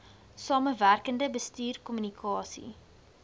samewerkende bestuur kommunikasie